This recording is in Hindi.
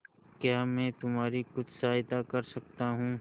क्या मैं तुम्हारी कुछ सहायता कर सकता हूं